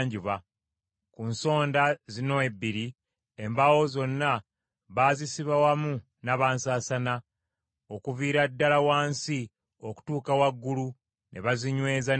Ku nsonda zino ebbiri, embaawo zombi baazisiba wamu nabansasaana okuviira ddala wansi okutuuka waggulu, ne bazinyweza n’empeta.